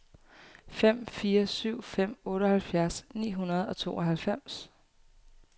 fem fire syv fem otteoghalvfjerds ni hundrede og tooghalvfems